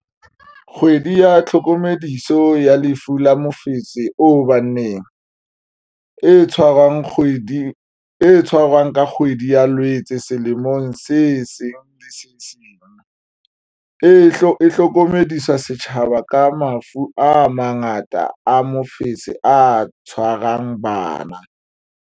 Kgwedi ya tlhokomediso ya Lefu la Mofetshe o Baneng, e tshwarwang ka kgwedi ya Loetse selemong se seng le se seng, e hlokomedisa setjhaba ka mafu a mangata a mofetshe o tshwarang bana.